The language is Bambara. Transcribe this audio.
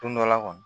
Don dɔ la kɔni